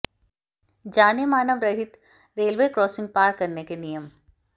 जानें मानव रहित रेलवे क्रासिंग पार करने के नियम